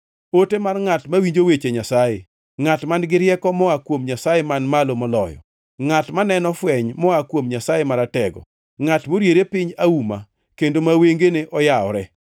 ote mar ngʼat mawinjo weche Nyasaye, ngʼat man-gi rieko moa kuom Nyasaye Man Malo Moloyo, ngʼat maneno fweny moa kuom Nyasaye Maratego, ngʼat moriere piny auma, kendo ma wengene oyawore.